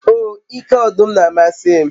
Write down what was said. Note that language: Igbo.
o ike odum n'amasi m